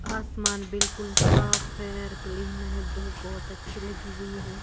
आसमान बिल्कुल साफ है और क्लीन है धूप बहुत अच्छी लगी हुई है।